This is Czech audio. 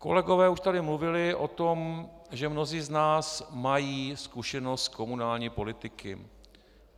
Kolegové už tady mluvili o tom, že mnozí z nás mají zkušenost z komunální politiky.